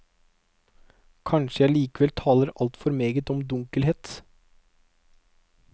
Kanskje jeg likevel taler altfor meget om dunkelhet.